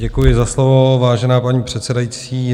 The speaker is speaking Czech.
Děkuji za slovo, vážená paní předsedající.